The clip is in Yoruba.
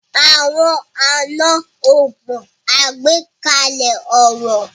Àwọn àná o mọ agbekalẹ ọrọ.